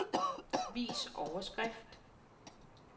Vis overskrift.